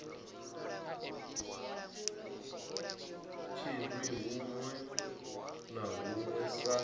tshinwi huṋwe na huṋwe sa